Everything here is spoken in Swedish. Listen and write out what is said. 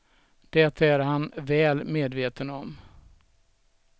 Det är han väl medveten om.